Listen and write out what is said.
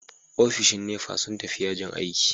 Ofishin NEPA sun tafi yajin aiki.